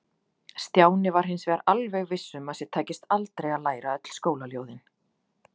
Stjáni var hins vegar alveg viss um að sér tækist aldrei að læra öll skólaljóðin.